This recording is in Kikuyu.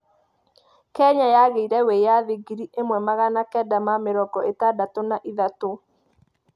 Kenya yagĩire wĩyathi ngiri ĩmwe magana kenda ma mĩrongo ĩtandatũ na ithatũ.